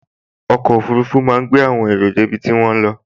Ọkọ̀ ọfurufú máa gbé àwọn èrò dé ibi tí wọ́n ń lọ